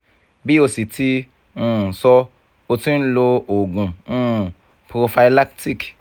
bi o si ti um sọ o ti n lo oògùn um prophylactic